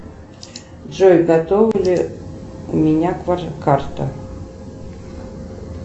джой готова ли у меня карта